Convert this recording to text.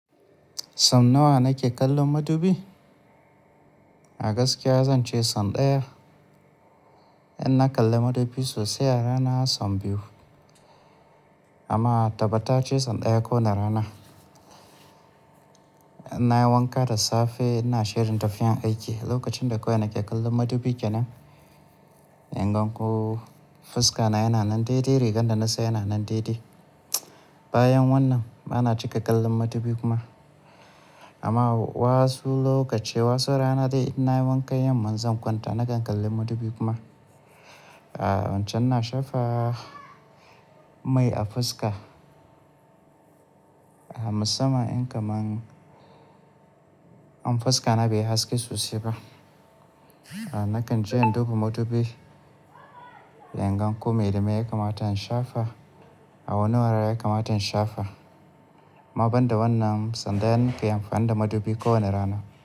Son nawa na ke kallon madubi? A gaskiya zan ce son ɗaya. In na kalla madubi sosai a rana son biyu, amma tabbatace son ɗaya ko wane rana. In na yi wanka da safe ina shirin tafiyan aiki, lokacin da kawai nake kallon madubi kenan, ingan ko fuska na yana nan daidai, rigan da na sa yana nan daidai. Bayan wannan bana cika kallon madubi kuma. Amma wasu lokaci, wasu rana dai in na yi wanka yamma, in zan kwanta nakan kalli madubi kuma. Wancan na shafa mai a fuska. Musamman in kaman, in fuska na beyi haske sosai ba. Nakan je in duba madubi ingan ko me da me ya kamata in shafa, a wani wurare ya kamata in shafa. Amma banda wannan, son ɗaya nake amfani da madubi ko wane rana.